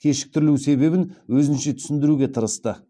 кешіктірілу себебін өзінше түсіндіруге тырысты